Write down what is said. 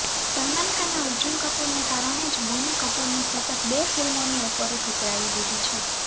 સલમાન ખાને અર્જુન કપૂરને કારણે જ બોની કપૂરની સતત બે ફિલ્મોની ઓફરો ઠુકરાવી દીધી છે